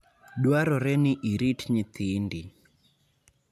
Dwarore ni irit nyithindi.